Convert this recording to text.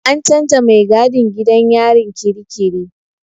An canza mai gadin gidan yarin kirikiri.